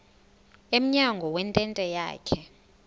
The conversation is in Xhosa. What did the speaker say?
emnyango wentente yakhe